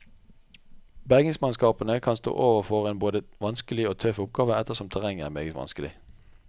Bergingsmannskapene kan stå overfor en både vanskelig og tøff oppgave, ettersom terrenget er meget vanskelig.